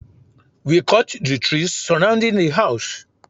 We cut the trees surrounding the house